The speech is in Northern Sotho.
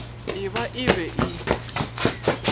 e ba e be e